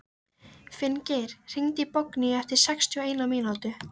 Finngeir, hringdu í Borgnýju eftir sextíu og eina mínútur.